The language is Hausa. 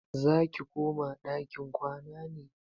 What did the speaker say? Zaki koma ɗakin kwana ne?